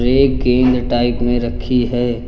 ये एक गेंद टाइप में रखी है।